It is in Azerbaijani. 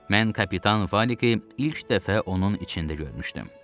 Mən kapitan Fəliqi ilk dəfə onun içində görmüşdüm.